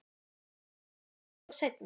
Hitt verður bara að koma í ljós seinna.